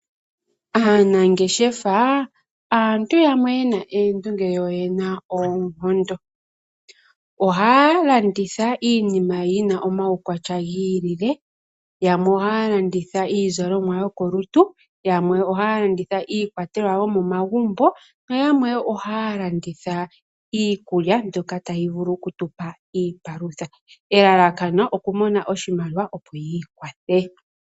Aanangeshefa aantu yamwe yena oondunge yo oyena oonkondo. Ohaya landitha iinima yina omaukwatya giilile. Yamwe ohaya landitha iizalomwa, yamwe ohaya landitha iikwatelwa yomagumbo na yamwe woo ohaya landitha iikulya mbyoka tayi vulu oku tu palutha. Elalakano opo yamone oshimaliawa opo yiikwathe.